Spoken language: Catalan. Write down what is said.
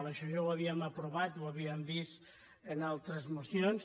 això ja ho havíem aprovat ho havíem vist en altres mocions